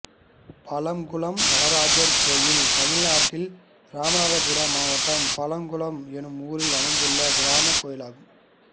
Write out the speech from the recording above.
பழங்குளம் நடராஜர் கோயில் தமிழ்நாட்டில் இராமநாதபுரம் மாவட்டம் பழங்குளம் என்னும் ஊரில் அமைந்துள்ள கிராமக் கோயிலாகும்